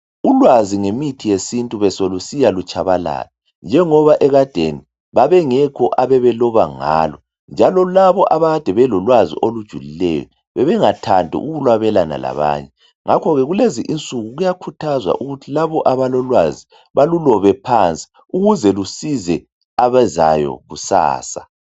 Ulwazi ngemithi yesintu beselusiya lutshabalala , njengoba ekadeni babengekho ababeloba ngalo njalo labo abakade belolwazi olujulileyo bebengathandi ukulwabelana labanye. Ngakhoke kulezi insuku kuyakhuthazwa ukuthi labo abalolwazi balulobe phansi ukuze lusize abezayo kusasa .